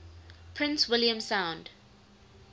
prince william sound